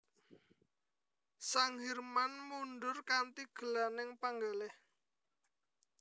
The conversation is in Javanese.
Sang Hirman mundhur kanthi gelaning panggalih